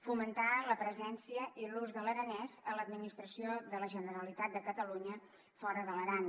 fomentar la presència i l’ús de l’aranès a l’administració de la generalitat de catalunya fora de l’aran